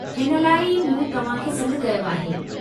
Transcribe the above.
हिन लाइ ई मूं तव्हां खे सॾु कयो आहे।